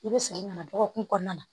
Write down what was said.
I bɛ segin ka na dɔgɔkun kɔnɔna na